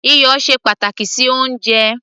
iyọ̀ ṣe pàtàkì sí oúnjẹ